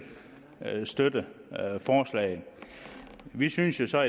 støtte forslaget vi synes jo så